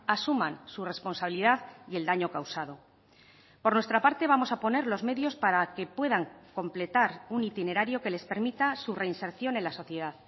asuman su responsabilidad y el daño causado por nuestra parte vamos a poner los medios para que puedan completar un itinerario que les permita su reinserción en la sociedad